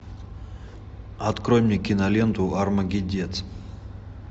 открой мне киноленту армагеддец